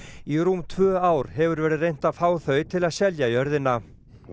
í rúm tvö ár hefur verið reynt að fá þau til að selja jörðina